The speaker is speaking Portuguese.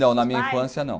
Não, na minha infância não.